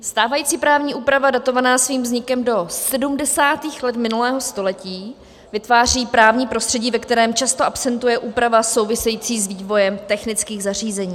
Stávající právní úprava datovaná svým vznikem do 70. let minulého století vytváří právní prostředí, ve kterém často absentuje úprava související s vývojem technických zařízení.